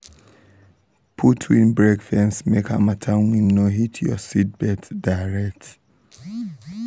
put windbreak fence make harmattan wind no hit your seedbeds direct.